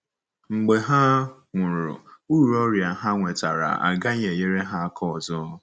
Mgbe ha nwụrụ, uru ọrịa ha nwetara agaghị enyere ha aka ọzọ.